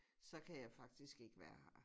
Så kan jeg faktisk ikke være her